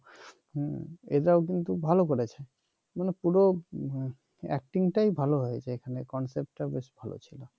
হম এরাও কিন্তু ভাল করেছে মানে পুরো acting টাই ভাল হয়েছে এখানে concept টা ও বেশ ভাল ছিল